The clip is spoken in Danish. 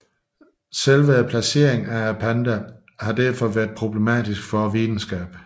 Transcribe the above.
Selve placeringen af pandaen har derfor været problematisk for videnskaben